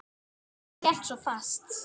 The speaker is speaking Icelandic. Hann hélt svo fast.